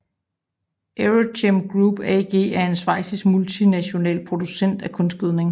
EuroChem Group AG er en schweizisk multinational producent af kunstgødning